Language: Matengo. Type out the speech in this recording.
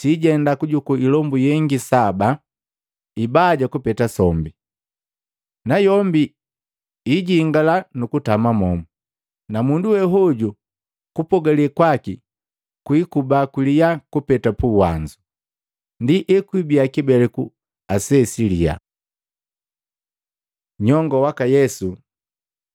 sijenda kujukuu ilombu yengi saba, ibaja kupeta sombi, na yombi ijingala nukutama momu. Na mundu we wehoju kupogale kwaki kwiikuba kuliya kupeta puwanzu. Ndi ekwibiya kibeleku ase siliya.” Nyongo waka Yesu